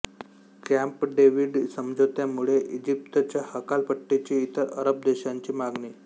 Camp David समझोत्यामुळे इजिप्तच्या हकालपट्टीची इतर अरब देशांची मागणी